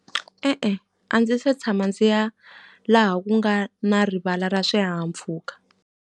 E-e a ndzi se tshama ndzi ya laha ku nga na rivala ra swihahampfhuka.